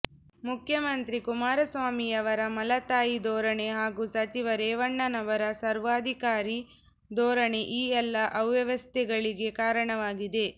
ಮುಖ್ಯಮಂತ್ರಿ ಕುಮಾರಸ್ವಾಮಿಯವರ ಮಲತಾಯಿ ಧೋರಣೆ ಹಾಗೂ ಸಚಿವ ರೇವಣ್ಣನವರ ಸರ್ವಾಧಿಕಾರಿ ಧೋರಣೆ ಈ ಎಲ್ಲ ಅವ್ಯವಸ್ಥೆಗಳಿಗೆ ಕಾರಣವಾಗಿದೆ